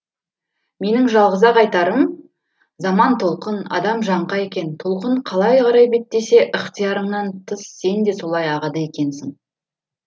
менің жалғыз ақ айтарым заман толқын адам жаңқа екен толқын қалай қарай беттесе ықтиярыңнан тыс сен де солай ағады екенсің